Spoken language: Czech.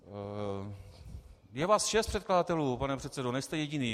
Je vás šest předkladatelů, pane předsedo, nejste jediný.